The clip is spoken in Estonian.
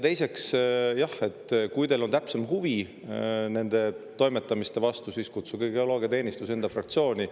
Teiseks, jah, kui teil on täpsem huvi nende toimetamiste vastu, siis kutsuge geoloogiateenistus enda fraktsiooni.